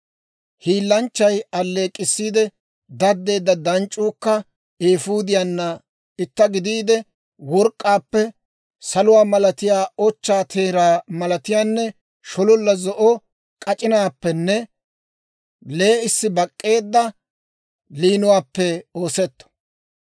Hiilanchchay aleek'k'issiide daddeedda danc'c'uukka eefuudiyaanna itta gidiide, work'k'aappe, saluwaa malatiyaa, ochchaa teeraa malatiyaanne shololla zo'o k'ac'inaappenne lee'issi bak'k'eedda liinuwaappe oosetto.